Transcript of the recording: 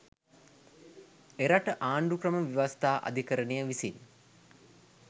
එරට ආණ්ඩුක්‍රම ව්‍යවස්ථා අධිකරණය විසින්